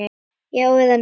Já eða nei?